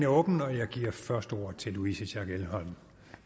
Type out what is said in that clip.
åbnet og jeg giver først ordet til louise schack elholm